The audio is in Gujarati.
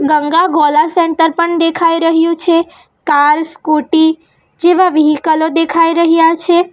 ગંગા ગોલા સેન્ટર પણ દેખાઈ રહ્યું છે કાલ સ્કુટી જેવા વિહીકલો દેખાઈ રહ્યા છે.